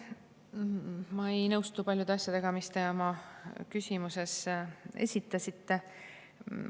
Ma ei nõustu paljude, mis te oma küsimuses esitasite.